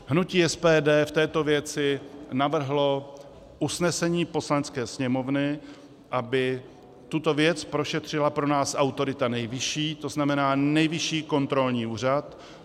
Hnutí SPD v této věci navrhlo usnesení Poslanecké sněmovny, aby tuto věc prošetřila pro nás autorita nejvyšší, to znamená Nejvyšší kontrolní úřad.